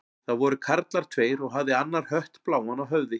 Það voru karlar tveir og hafði annar hött bláan á höfði.